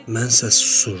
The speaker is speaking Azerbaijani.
Mən isə susurdum.